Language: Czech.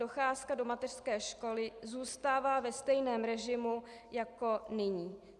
Docházka do mateřské školy zůstává ve stejném režimu jako nyní.